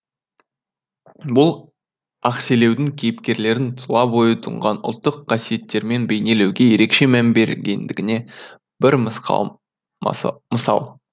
бұл ақселеудің кейіпкерлерін тұла бойы тұнған ұлттық қасиеттерімен бейнелеуге ерекше мән бергендігіне бір мысқал мысал